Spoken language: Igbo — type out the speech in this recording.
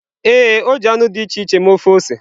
Ee, o ji anụ dị iche iche mee ofe ose.